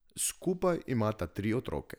Skupaj imata tri otroke.